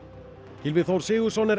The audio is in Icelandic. Gylfi Þór Sigurðsson er